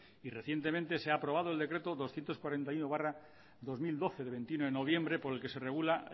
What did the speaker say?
y recientemente se ha aprobado el decreto doscientos cuarenta y uno barra dos mil doce de veintiuno de noviembre por el que se regula